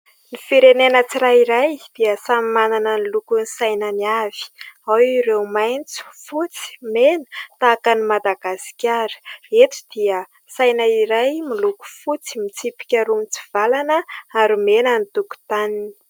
Ny firenena tsirairay dia samy manana ny lokon'ny sainany avy. Ao ireo maitso, fotsy, mena tahaka an'i Madagasikara. Eto dia saina iray miloko fotsy, mitsipika roa mitsivalana ary mena ny tokotaniny.